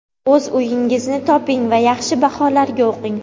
o‘z uyingizni toping va yaxshi baholarga o‘qing.